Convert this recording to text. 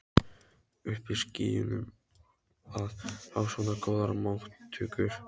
Uppi í skýjunum að fá svona góðar móttökur.